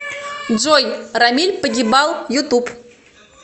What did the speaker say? джой рамиль погибал ютуб